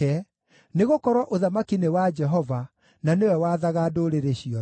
nĩgũkorwo ũthamaki nĩ wa Jehova, na nĩwe wathaga ndũrĩrĩ ciothe.